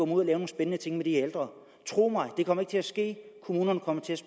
nogle spændende ting med de ældre tro mig det kommer ikke til at ske kommunerne kommer til at